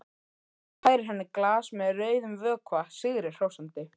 Færir henni glas með rauðum vökva sigri hrósandi.